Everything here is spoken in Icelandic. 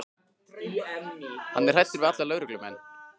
Hann er hræddur við alla lögreglumenn.